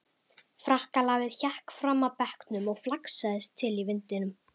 Frakkalafið hékk fram af bekknum og flaksaðist til í vindinum.